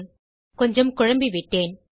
மன்னிக்கவும் கொஞ்சம் குழம்பி விட்டேன்